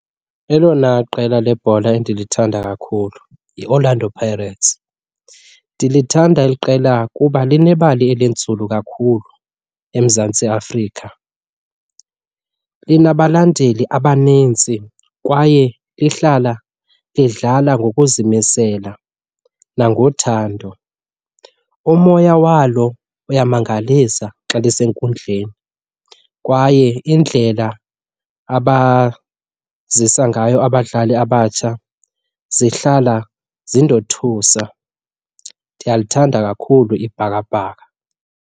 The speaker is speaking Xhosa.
Elona qela lebhola endilithanda kakhulu yiOrlando Pirates. Ndilithanda eli qela kuba linebali elinzulu kakhulu eMzantsi Afrika. Linabalandeli abanintsi kwaye lihlala lidlala ngokuzimisela nangothando. Umoya walo uyamangalisa xa lisenkundleni kwaye indlela abazisa ngayo abadlali abatsha zihlala zindothusa. Ndiyalithanda kakhulu iBhakaBhaka.